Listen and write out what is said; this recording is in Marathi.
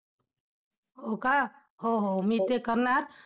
हो का? हो हो मी ते करणार!